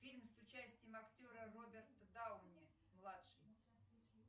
фильм с участием актера роберта дауне младший